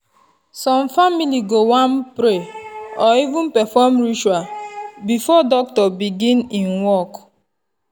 some family go wan pray or even perform ritual before doctor begin en work.